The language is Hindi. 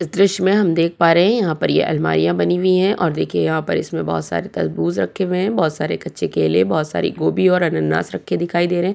इस दृश्य में हम देख पा रहें हैं यहाँ पर ये अलमारियाँ बनी हुई हैं और देखिये यहाँ पर इसमें बोहोत सारे तरबूज रखें हुए हैं बोहोत सारे कच्चे केले बोहोत सारे गोभी और अनानास रखें दिखाई दे रहें हैं।